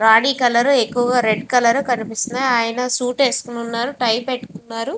Body colour ఎక్కువగా red colour ఎక్కువగా కనిపిస్తూ వున్నాయి. ఆయన సూట్ వేసుకొని టై పెట్టుకున్నారు.